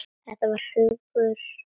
Þetta var huggun.